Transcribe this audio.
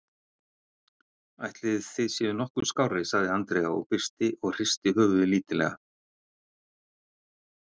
Ætlið þið séuð nokkuð skárri, sagði Andrea byrst og hristi höfuðið lítillega.